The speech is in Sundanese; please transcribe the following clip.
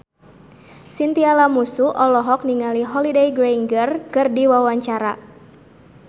Chintya Lamusu olohok ningali Holliday Grainger keur diwawancara